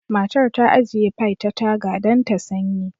Matar ta ajiye pie ta taga don ta sanyi